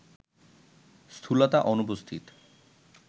স্থূলতা অনুপস্থিত